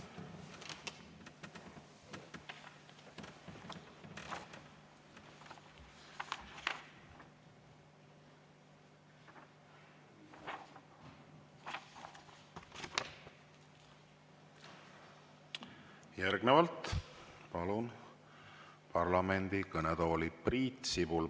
Järgnevalt palun parlamendi kõnetooli Priit Sibula.